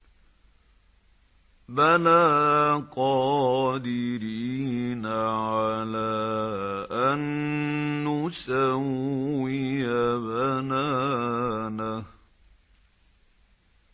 بَلَىٰ قَادِرِينَ عَلَىٰ أَن نُّسَوِّيَ بَنَانَهُ